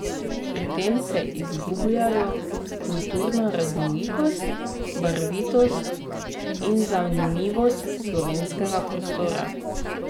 Pri tem se izgubljajo kulturna raznolikost, barvitost in zanimivost slovenskega prostora.